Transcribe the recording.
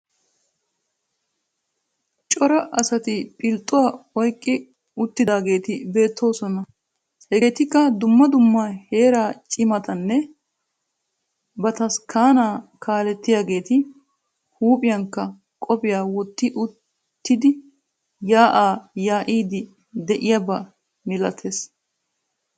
Cora asati philxxxuwa oyqqi uttidaageeti beettoosona. Hegeetikka dumma dumma heeraa cimatanne bataskkaanaa kaalettiyageeti huuphphiyankka qophiya wotti uttidi yaa'aa yaa'iiddi de'iyaba milatees